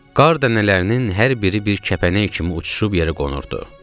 Qar dənələrinin hər biri bir kəpənək kimi uçuşub yerə qonurdu.